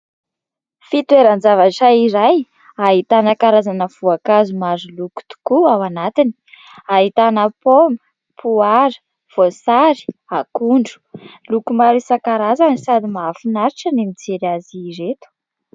Fitoeran-javatra iray ahitana karazana voankazo maroloko tokoa ao anatiny, ahitana paoma, poara, voasary, akondro loko maro isan- karazany sady mahafinaritra ny mijery azy ireto.